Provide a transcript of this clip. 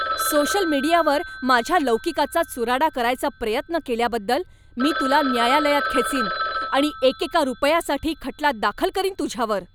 Social मीडियावर माझ्या लौकिकाचा चुराडा करायचा प्रयत्न केल्याबद्दल मी तुला न्यायालयात खेचीन आणि एकेका रुपयासाठी खटला दाखल करीन तुझ्यावर.